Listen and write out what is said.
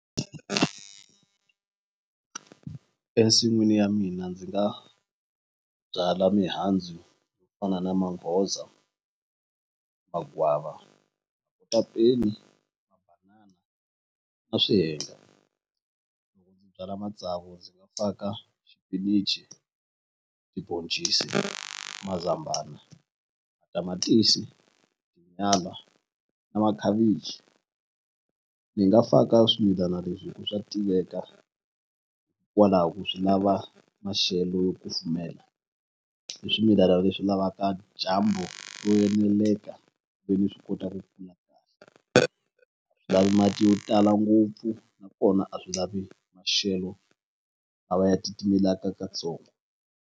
Ensin'wini ya mina ndzi nga byala mihandzu fana na manghoza, magwava a byala matsavu xipinichi tiboncisi mazambana tamatisi, nyala na makhavichi ni nga faka swimilana leswi hi ku swa tiveka kwalaho swi lava maxelo yo kufumela i swimilana leswi lavaka dyambu ro eneleka ve ni swi kota ku lavi mati yo tala ngopfu nakona a swi lavi maxelo a va ya titimelaka katsongo.